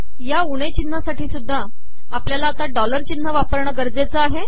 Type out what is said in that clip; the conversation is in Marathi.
या उणे िचनहासाठी सुधदा आपलयाला डॉलर िचनह वापरणे गरजेचे आहे